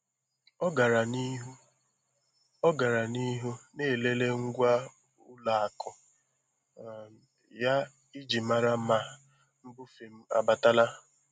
Ọ gara n'ihu Ọ gara n'ihu na-elele ngwa ụlọ akụ um ya iji mara ma mbufe m abatala.